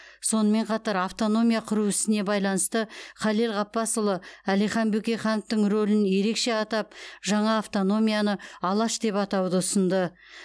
сонымен қатар автономия құру ісіне байланысты халел ғаббасұлы әлихан бөкейхановтың рөлін ерекше атап жаңа автономияны алаш деп атауды ұсынды